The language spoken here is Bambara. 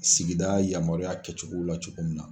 Sigida yamaruya kɛcogo la cogo min na.